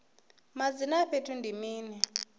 madzina a fhethu ndi mini